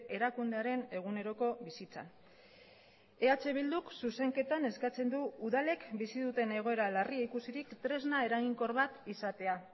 erakundearen eguneroko bizitzan eh bilduk zuzenketan eskatzen du udalek bizi duten egoera larria ikusirik tresna eraginkor bat izatea